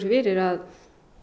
fyrir að